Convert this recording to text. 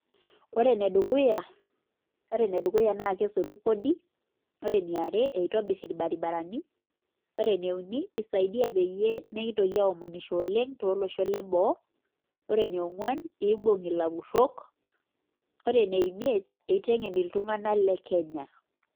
koree ene dukuya kesotu kodii koree eniare naa keshiet ilbarabrani koree ene uni naa kisaidia iyiok pee mekintoki aomonisho oleng too loshon leboo koree ene ongwuan kibuung ilapurok koree ene imiet kitengen iltunganak le kenya